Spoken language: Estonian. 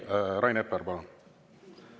Rain Epler, palun!